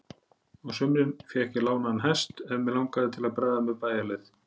Á sumrin fékk ég léðan hest ef mig langaði til að bregða mér bæjarleið.